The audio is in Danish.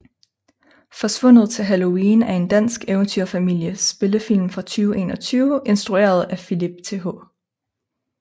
Forsvundet til Halloween er en dansk eventyr familie spillefilm fra 2021 instrueret af Philip Th